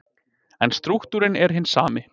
En strúktúrinn er hinn sami.